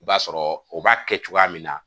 I b'a sɔrɔ o b'a kɛ cogoya min na